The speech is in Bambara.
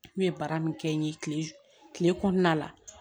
N ye baara min kɛ n ye kile kile kɔnɔna la